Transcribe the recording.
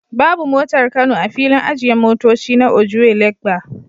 Babu motar kano a filin ajiye motoci na Ojuelegba